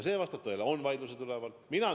Vastab tõele, et vaidlused on üleval.